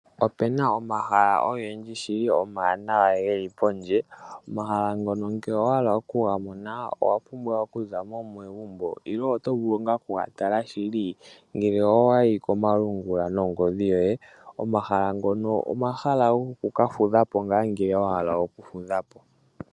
Opena omahala ogendji shili omawanawa geli pondje. Omahala ngono ngele owa hala okugamona owapumbwa okuzamo megumbo nenge otovulu okugatala ngele owayi komalungula nongodhi yoye. Omahala ngono omahala goku kafudhapo ngele wahala oku fudhapo.